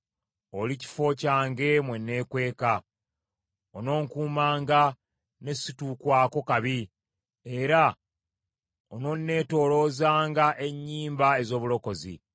Oli kifo kyange mwe nneekweka, ononkuumanga ne situukwako kabi era ononneetooloozanga ennyimba ez’obulokozi.